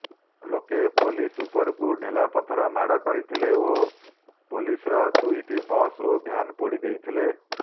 ଲୋକେ ପୋଲିସ ଉପରକୁ ଢେଲାପଥର ମାଡ କରିଥିଲେ ଓ ପୋଲିସର ଦୁଇଟି ବସ ଓ ଭ୍ୟାନ ପୋଡି ଦେଇଥିଲେ